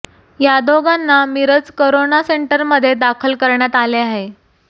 या दोघांना मिरज करोना सेंटरमध्ये दाखल करण्यात आले आहे